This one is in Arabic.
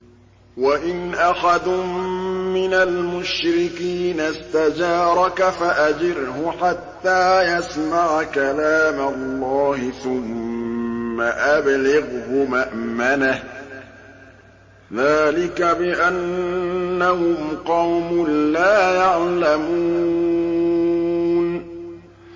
وَإِنْ أَحَدٌ مِّنَ الْمُشْرِكِينَ اسْتَجَارَكَ فَأَجِرْهُ حَتَّىٰ يَسْمَعَ كَلَامَ اللَّهِ ثُمَّ أَبْلِغْهُ مَأْمَنَهُ ۚ ذَٰلِكَ بِأَنَّهُمْ قَوْمٌ لَّا يَعْلَمُونَ